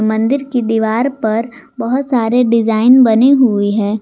मंदिर की दीवार पर बहुत सारे डिजाइन बनी हुई है।